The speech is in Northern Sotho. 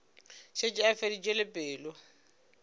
šetše a feditše le pelo